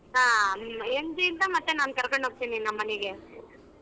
ಹಾ MG ಯಿಂದ ಮತ್ತೆ ನಾನ್ ಕರಕೊಂಡು ಹೋಗ್ತೀನಿ ನಮ್ಮನೆಗೆ.